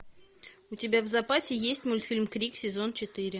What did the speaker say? у тебя в запасе есть мультфильм крик сезон четыре